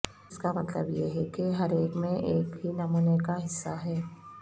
اس کا مطلب یہ ہے کہ ہر ایک میں ایک ہی نمونے کا حصہ ہے